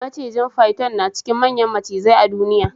Macijin "Python" na cikin manyan macizai a duniya.